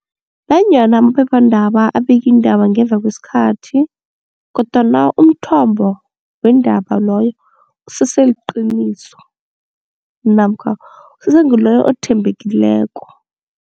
Nanyana amaphephandaba abikiindaba ngemva kwesikhathi kodwana umthombo weendaba loyo usese liqiniso namkha usese ngiloyo othembekileko.